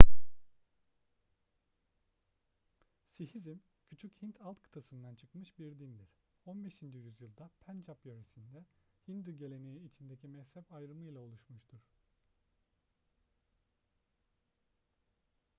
sihizm küçük hint alt kıtasından çıkmış bir dindir 15. yüzyılda pencap yöresinde hindu geleneği içindeki mezhep ayrımıyla oluşmuştur